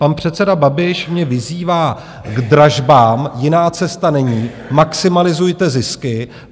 Pan předseda Babiš mě vyzývá k dražbám, jiná cesta není, maximalizujte zisky.